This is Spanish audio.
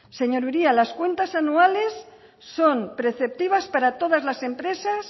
señor uria las cuentas anuales son preceptivas para todas las empresas